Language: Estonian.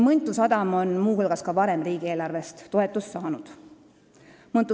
Mõntu sadam on varemgi riigieelarvest toetust saanud.